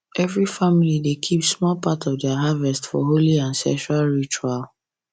every family dey keep small part of their harvest for holy ancestral ritual